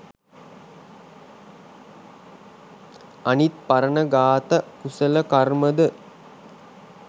අනිත් පරණ ඝාත කුසල කර්මද?